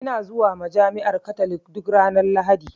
Ina zuwa majami'ar katolik duk ranar lahadi?